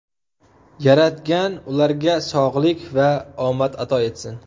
Yaratgan ularga sog‘lik va omad ato etsin.